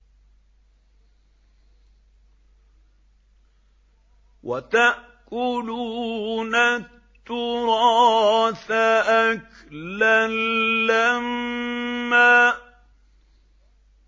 وَتَأْكُلُونَ التُّرَاثَ أَكْلًا لَّمًّا